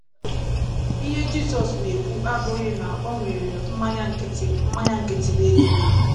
Ihe Jizọs na - ekwu abụghị na e nwere mmanya nkịtị mmanya nkịtị n’eluigwe.